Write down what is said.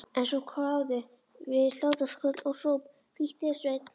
En svo kváðu við hlátrasköll og hróp: Flýttu þér Sveinn.